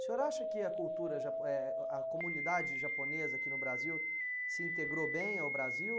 O senhor acha que a cultura, japo, eh, a comunidade japonesa aqui no Brasil se integrou bem ao Brasil?